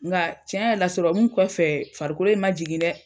Nka tiɲɛ yɛrɛ la sɔrɔmu kɔfɛ farikolo in ma jigin dɛ.